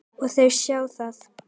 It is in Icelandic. Og þau sjá það.